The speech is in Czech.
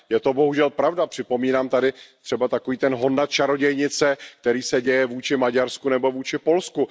Je to bohužel pravda, připomínám tady třeba takový ten hon na čarodějnice, který se děje vůči Maďarsku nebo vůči Polsku.